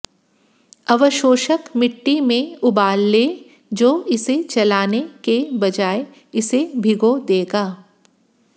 अवशोषक मिट्टी में उबाल लें जो इसे चलाने के बजाय इसे भिगो देगा